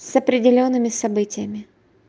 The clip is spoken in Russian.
с определёнными событиями